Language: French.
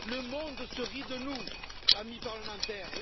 Le monde se rit de nous, amis parlementaires.